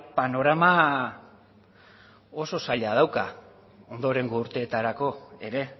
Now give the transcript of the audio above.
panorama oso zaila dauka ondorengo urteetarako ere